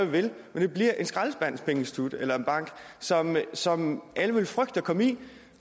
vil men det bliver et skraldespandspengeinstitut eller bank som alle vil frygte at komme ind